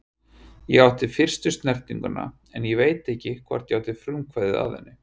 Ég átti fyrstu snertinguna en ég veit ekki hvort ég átti frumkvæðið að henni.